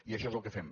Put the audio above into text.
i això és el que fem